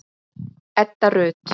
Edda Rut.